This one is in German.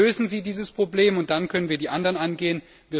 Lösen Sie dieses Problem, und dann können wir die anderen angehen.